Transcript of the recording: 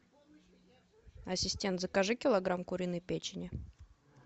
ассистент закажи килограмм куриной печени